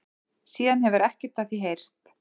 Síðan hefur ekkert af því heyrst